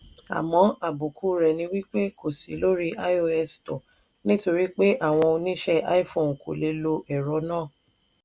àmọ́ àbùkù rẹ̀ ni wí pé kò sí lórí ios store nítorí pé àwọn oníṣe iphone kò lè lo ẹ̀rọ náà.